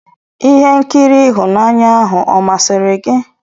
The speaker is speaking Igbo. Ihe nkiri ihunanya ahụ ọ masịrị gị?